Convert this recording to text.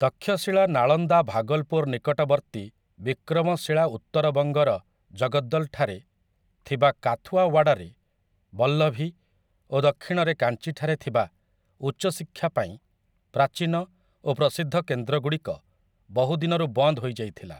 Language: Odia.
ତକ୍ଷଶିଳା ନାଳନ୍ଦା ଭାଗଲପୁର ନିକଟବର୍ତ୍ତୀ ବିକ୍ରମଶିଳା ଉତ୍ତରବଙ୍ଗର ଜଗଦ୍ଦଲଠାରେ ଥିବା କାଥୁଆୱାଡରେ ବଲ୍ଲଭୀ ଓ ଦକ୍ଷିଣରେ କାଞ୍ଚିଠାରେ ଥିବା ଉଚ୍ଚଶିକ୍ଷା ପାଇଁ ପ୍ରାଚୀନ ଓ ପ୍ରସିଦ୍ଧ କେନ୍ଦ୍ରଗୁଡ଼ିକ ବହୁ ଦିନରୁ ବନ୍ଦ ହୋଇ ଯାଇଥିଲା ।